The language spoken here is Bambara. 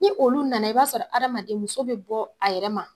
Ni olu nana i b'a sɔrɔ adamaden muso bɛ bɔ a yɛrɛ ma